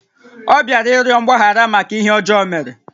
Ọ bịara ịrịọ mgbaghara màkà ihé ọjọọ ọ mèrè